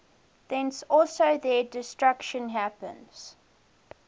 thence also their destruction happens